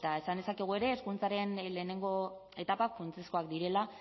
esan dezakegu ere hezkuntzaren lehenengo etapak funtsezkoak direla